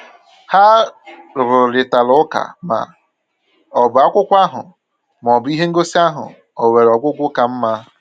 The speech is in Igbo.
Ha rụrịtara ụka ma ọ bụ akwụkwọ ahụ ma ọ bụ ihe ngosi ahụ o nwere ọgwụgwụ ka mma.